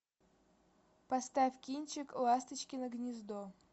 поставь кинчик ласточкино гнездо